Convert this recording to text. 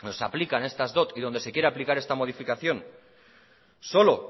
nos aplican estas dot y donde se quiera aplicar esta modificación solo